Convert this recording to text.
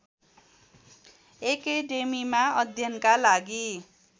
एकेडेमीमा अध्ययनका लागि